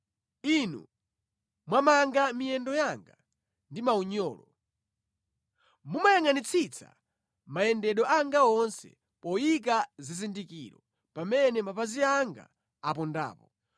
Inu mwamanga miyendo yanga ndi maunyolo. Mumayangʼanitsitsa mayendedwe anga onse poyika zizindikiro pamene mapazi anga apondapo.